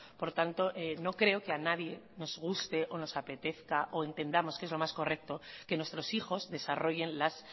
por tanto no creo que a nadie nos guste o nos apetezca o entendamos que es lo más correcto que nuestros hijos desarrollen las